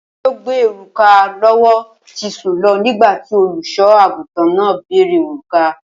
O̩mo̩ tí ó gbé òrùka ló̩wó̩ ti sùn lo̩ nígbà tí olùs̩o̩-àgùntàn náà béèrè òrùka